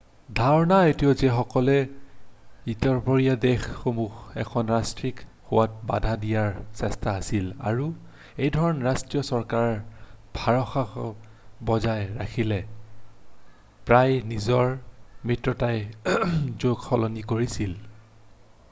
"ধাৰণা এইটোও যে সকলো ইউৰোপীয় দেশসমূহক এখন ৰাষ্ট্ৰক হোৱাত বাধা দিয়াৰ চেষ্টা আছিল আৰু এইধৰণে ৰাষ্ট্ৰীয় চৰকাৰে ভাৰসাম্য বজাই ৰাখিবলৈ প্ৰায়েই নিজৰ মিত্ৰজোটক সলনি কৰিছিল ।""